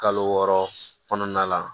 Kalo wɔɔrɔ kɔnɔna la